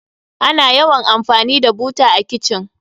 Ana yawan amfani da buta a kitchen.